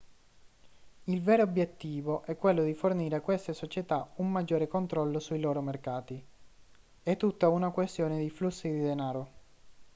il vero obiettivo è quello di fornire a queste società un maggiore controllo sui loro mercati è tutta una questione di flussi di denaro